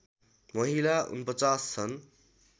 महिला ४९ छन्